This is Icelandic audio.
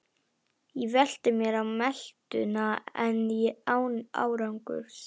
Ég velti mér á meltuna en án árangurs.